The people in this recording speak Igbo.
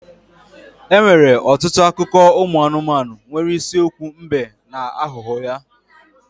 Enwere ọtụtụ akụkọ ụmụ anụmanụ nwere isiokwu mbe na aghụghọ ya.